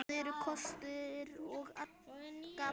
Það eru kostir og gallar.